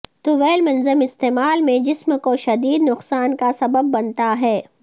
طویل منظم استعمال میں جسم کو شدید نقصان کا سبب بنتا ہے